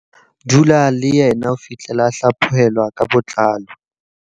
Dula le yena ho fihlela a hlaphohelwa ka botlalo.